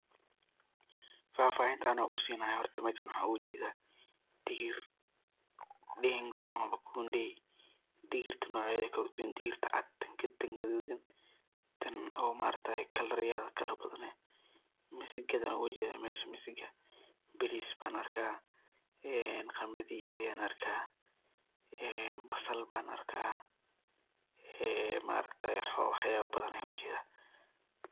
fahfaahinta ano kusinaayo horta meshan waxan oga jedaa digir ,dengu amaba kunde digirta nocyadeda kala duban digirta cad, tan gaduudan, tan oo ma aragtaye kalarada kala badan leh, misigadan oga jedaa mesha, misigada, baaris ban arkaa, qamadhi ayan arkaa, een basal ban arkaa ee wax badan ayan arkaa